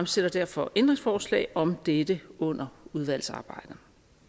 stiller derfor ændringsforslag om dette under udvalgsarbejdet